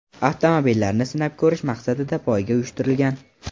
avtomobillarni sinab ko‘rish maqsadida poyga uyushtirgan.